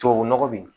Tubabu nɔgɔ bi